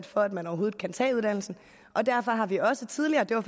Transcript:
for at man overhovedet kan tage uddannelsen og derfor har vi også tidligere det var